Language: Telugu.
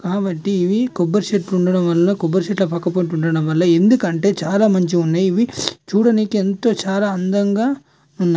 కాబట్టి ఇవి కొబ్బరి చెట్లు ఉండడం వల్ల కొబ్బరి చెట్లు పక్కకు ఉండడం ఎందుకంటే చాలా మంచిగా ఉన్నాయి ఇవి చూడడానికి ఎంతో చాలా అందంగా ఉన్నాయి.